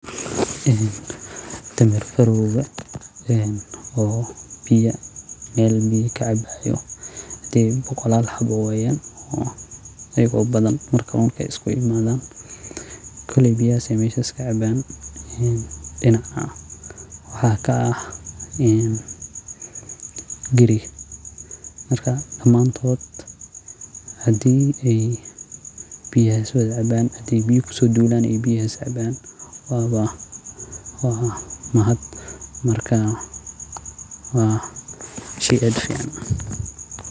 Ee dameer farowga oo biya meel kacabayo. Adi bukola lahabo wayan. ayuu badantu mar kamalka isku imaadaan qalabiya si aysan ka caaban in dhinaca wax ka ah. In giri marka la maantood. Haddii ay biyo isu caaban ay biyo kusud duulaan ay biyo saaban waa wa waa mahad. Markaa waa shi adkeena.